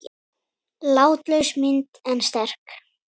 Látlaus mynd en sterk.